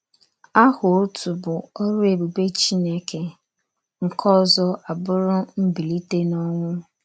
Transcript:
Aha otu bụ orụ ebube Chineke, nke ọzọ abụrụ Mbilite n’Ọnwụ.